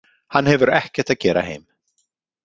Hann hefur ekkert að gera heim.